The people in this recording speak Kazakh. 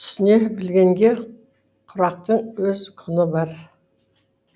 түсіне білгенге құрақтың өз құны бар